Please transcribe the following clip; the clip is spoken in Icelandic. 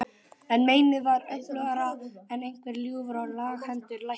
En meinið var öflugra en einhver ljúfur og laghentur læknir.